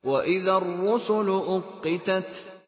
وَإِذَا الرُّسُلُ أُقِّتَتْ